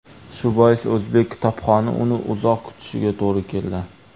Shu bois o‘zbek kitobxoni uni uzoq kutishiga to‘g‘ri keldi.